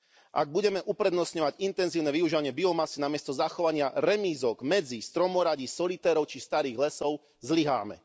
Ak budeme uprednostňovať intenzívne využívanie biomasy namiesto zachovania remízok, medzí, stromoradí, solitérov či starých lesov, zlyháme.